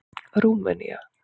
Rúmenía